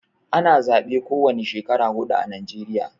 Ana zabe ko wane Shekara hudu ã Najeriya.